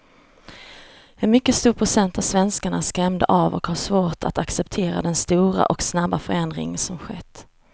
En mycket stor procent av svenskarna är skrämda av och har svårt att acceptera den stora och snabba förändring som skett.